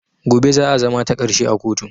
Gobe za a zama takarshe a kotun